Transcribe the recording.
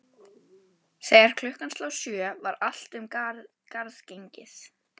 Þegar klukkan sló sjö var allt um garð gengið.